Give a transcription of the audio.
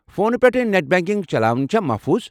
فونہٕ پٮ۪ٹھٕ net banking چلاوٕنۍ چھا محفوٗظ؟